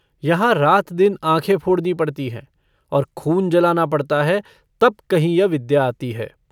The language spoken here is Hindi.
यहाँ रात-दिन आँखें फोड़नी पड़ती हैं और खून जलाना पड़ता है, तब कहीं यह विद्या आती है।